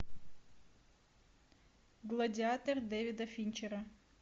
гладиатор дэвида финчера